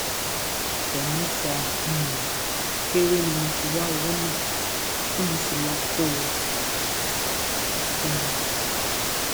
àárín ọsẹ mẹta um péré ni mo fi wá owó náà tí mo sì lọọ kó um o fún un